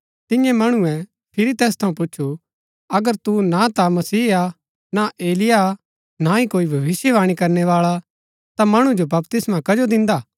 तियें मणुऐ फिरी तैस थऊँ पूछु अगर तु न ता मसीह हा ना एलिय्याह हा ना ही कोई भविष्‍यवाणी करनै बाळा ता मणु जो बपतिस्मा कजो दिन्दा